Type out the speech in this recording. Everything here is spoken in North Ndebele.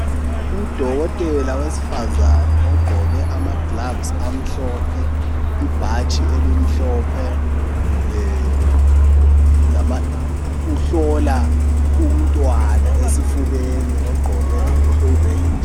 Udokotela wesifazana ogqoke amagilovisi amhlophe ibhatshi elimhlophe uhlola umntwana esifubeni ogqoke okubomvu.